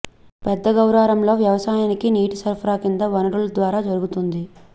పెద్ద గౌరారంలో వ్యవసాయానికి నీటి సరఫరా కింది వనరుల ద్వారా జరుగుతోంది